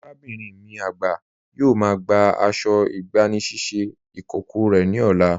Arábinrin mi agba yóò má gbà àṣọ̀ ìgbànisíṣẹ̀ ikókọ̀ rẹ ni ọ̀là.